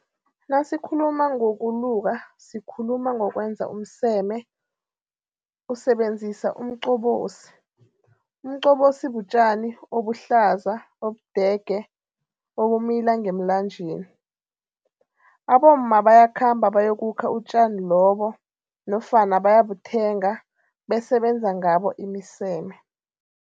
Nasikhuluma ngokuluka sikhuluma ngokwenza umseme usebenzisa umcobosi. umcobosi butjani ubuhlaza ubudege ubumila ngemlanjeni. abomma bayakhamba bayokukha utjani lobu nofana bayobuthenga bese benza ngabo imiseme.